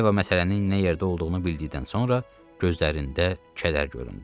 Yeva məsələnin nə yerdə olduğunu bildikdən sonra gözlərində kədər göründü.